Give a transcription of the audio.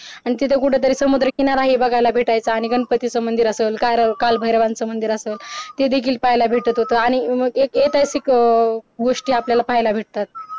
आणि तिथं कुठंतरी समुद्रकिनारा हि बघायला भेटायचं आणि गणपतीचा मंदिर असाल कालभायरवचा मंदिर असाल ते देखील पाहायला भेटत होत आणि ऐतिहासिक अं गोष्टी आपल्याला पाहायला भेटतात